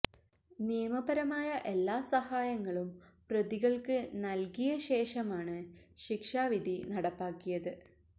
നിയമപരമായ എല്ലാ സഹായങ്ങളും പ്രതികള്ക്ക് നല്കിയ ശേഷമാണ് ശിക്ഷാ വിധി നടപ്പാക്കിയത്